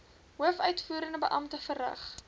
hoofuitvoerende beampte verrig